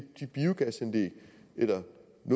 ender